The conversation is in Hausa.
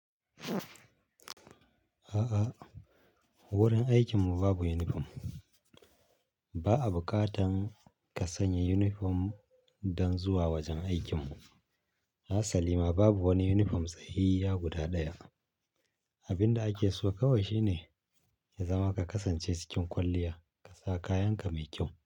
A'a, wurin aikinmu babu yunifom. Ba a ɓukatan ka sanya yunifom dan zuwa wajen aikinmu. Hasalima babu wani yunifom tsayayya guda ɗaya. Abin da ake so kawai shine ya zama ka kasance cikin kwalliya ka sa kayanka mai ƙyau.